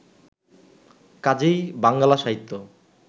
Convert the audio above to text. কাজেই বাঙ্গালা সাহিত্য